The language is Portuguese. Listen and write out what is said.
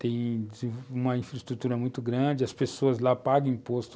Tem uma infraestrutura muito grande, as pessoas lá pagam imposto.